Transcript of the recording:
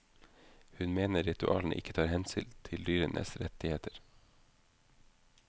Hun mener ritualene ikke tar hensyn til dyrenes rettigheter.